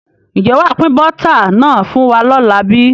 Ǹjẹ́ wàá pin Bọ́tà náà fún wa lọ́la bíi?